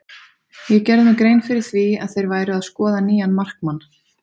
Ég gerði mér grein fyrir því að þeir væru að skoða nýjan markmann.